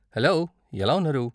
Hello, ఎలా ఉన్నారు?